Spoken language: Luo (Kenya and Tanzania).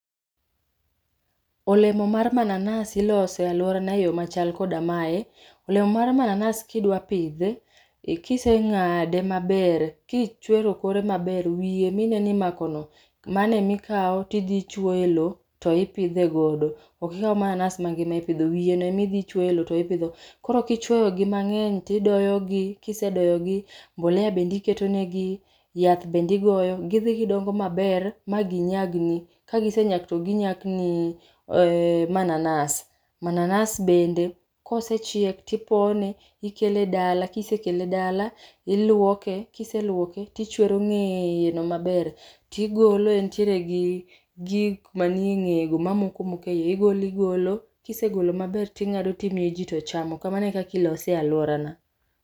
Olemo mar mananas iloso e alworana e yo machal koda mae, olemo mar mananas kidwa pidhe, kiseng'ade maber, kichwero kore maber, wiye mineno imako no, mano e ma ikao tidhi ichuoyo e loo to ipidhe godo. Okikaw mananas mangima e pidho, wiye no ema idhi ichuoyo e loo tipidho. Koro kichuoyo gi mang'eny, tidoyo gi, kisedoyo gi, mbolea bende iketo negi, yath bende igoyo. Gidhi gidongo maber, ma ginyag ni, kagisenyak to ginyak ni manananas. Mananas bende kosechiek, tipone, ikele dala, kisekele dala, iluoke, kiseluoke tichwero ng'eye no maber. Tigolo, entiere gi gik manie ng'eye mamoko moko e iye, igolo igolo. Kisegolo maber ting'ado timiyo ji tochamo. Kamano e kaka ilose e alworana.